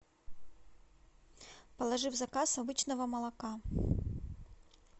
положи в заказ обычного молока